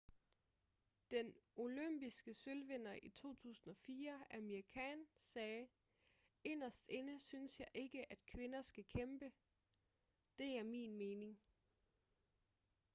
den olympiske sølvvinder i 2004 amir khan sagde inderst inde synes jeg ikke at kvinder skal kæmpe det er min mening